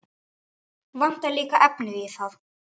Vantar líka efnið í það.